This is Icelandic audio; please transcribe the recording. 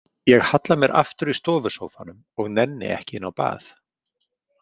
Ég halla mér aftur í stofusófanum og nenni ekki inn á bað.